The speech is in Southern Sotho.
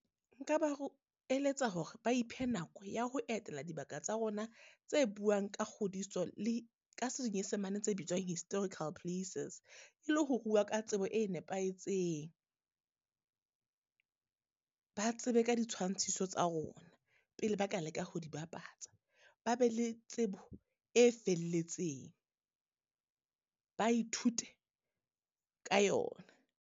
Nka ba o eletsa hore ba iphe nako ya ho etela dibaka tsa rona tse buang ka kgodiso le ka senyesemane tse bitswang historical places. E le ho buwa ka tsebo e nepahetseng, ba tsebe ka di tshwantshiso tsa rona pele ba ka leka ho di bapatsa, ba be le tsebo e felletseng, ba ithute ka yona.